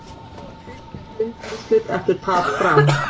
Fylkir í undanúrslit eftir tap Fram